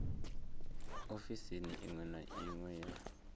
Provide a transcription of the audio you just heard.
ofisini iṅwe na iṅwe ya